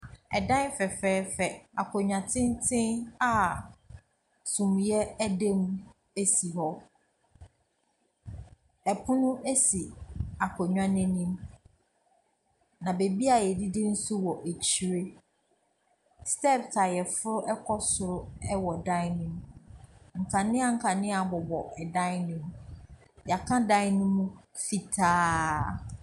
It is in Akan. Ɛdan fɛfɛɛfɛ, akonnwa tenten a sumiiɛ da mu si hɔ. Pono si akonnwa no anim, na baabi a wɔdidi nso wɔ akyire. Steps a wɔforo kɔ soro wɔ dan no mu. Nkanea nkanea bobɔ ɛdan no mu. Wɔaka dan no mu fitaaaaa.